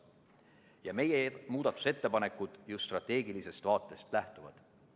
Ja meie muudatusettepanekud just strateegilisest vaatest lähtuvadki.